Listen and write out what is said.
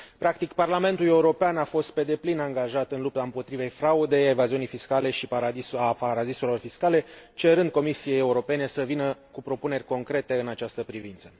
Practic, Parlamentul European a fost pe deplin angajat în lupta împotriva fraudei, evaziunii fiscale și paradisurilor fiscale, cerând Comisiei Europene să vină cu propuneri concrete în această privință.